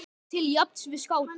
til jafns við skáta.